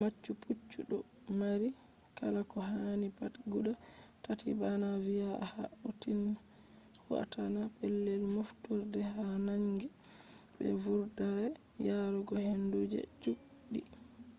machu picchu du mari kala ko hani pat guda tatti, bana vi`a ha`intihuatana pellel mofturde ha nange be vurdare yarugo hendu je chudi